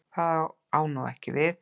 Það á ekki við nú.